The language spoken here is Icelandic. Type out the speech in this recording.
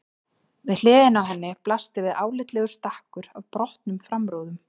Við hliðina á henni blasti við álitlegur stakkur af brotnum framrúðum.